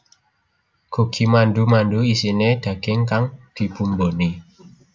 Gogi mandu mandu isine daging kang dibumboni